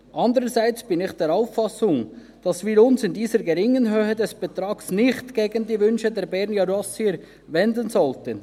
Andererseits bin ich der Auffassung, dass wir uns in dieser geringen Betragshöhe nicht gegen die Wünsche der Bernjurassier wenden sollten.